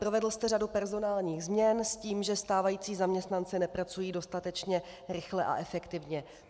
Provedl jste řadu personálních změn s tím, že stávající zaměstnanci nepracují dostatečně rychle a efektivně.